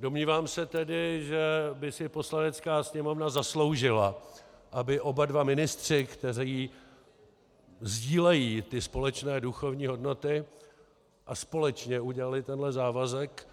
Domnívám se tedy, že by si Poslanecká sněmovna zasloužila, aby oba dva ministři, kteří sdílejí ty společné duchovní hodnoty a společně udělali tenhle závazek,